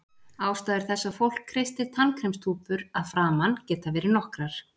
Ástæður þess að fólk kreistir tannkremstúpur að framan geta verið nokkrar.